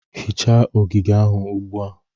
Hichaa ogige ahụ ugbu a